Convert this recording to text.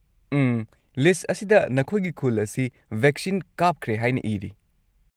ꯎꯝ, list ꯑꯁꯤꯗ ꯅꯈꯣꯏꯒꯤ ꯈꯨꯜ ꯑꯁꯤ ꯚꯦꯛꯁꯤꯟ ꯀꯥꯞꯈ꯭ꯔꯦ ꯍꯥꯏꯅ ꯢꯔꯤ꯫